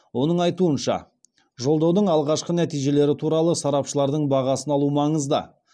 оның айтуынша жолдаудың алғашқы нәтижелері туралы сарапшылардың бағасын алу маңызды